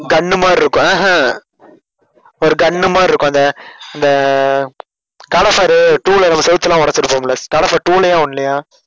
gun மாதிரி இருக்கும் ஆஹ் ஹம் ஒரு gun மாதிரிஇருக்கும் அந்த அந்த காட் ஆஃப் வார் two ல செவுத்தலாம் ஒடச்சிருப்போம்ல காட் ஆஃப் வார் two லையா one லையா